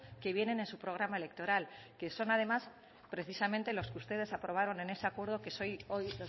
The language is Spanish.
que vienen en su programa electoral que son además precisamente los que ustedes aprobaron en ese acuerdo que es hoy los